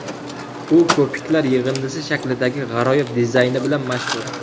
U ko‘piklar yig‘indisi shaklidagi g‘aroyib dizayni bilan mashhur.